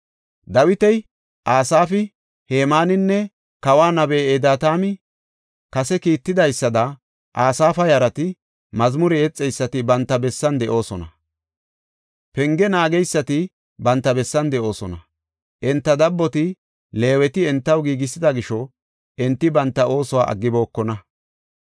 Dawiti, Asaafi, Hemaaninne kawa nabey Editaami kase kiittidaysada Asaafa yarati, mazmure yexeysati banta bessan de7oosona. Penge naageysati banta bessan de7oosona. Enta dabboti, Leeweti entaw giigisida gisho enti banta oosuwa aggibokona.